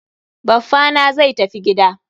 Baffa na zai tafi gida.